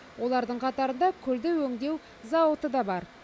олардың қатарында күлді өңдеу зауыты да бар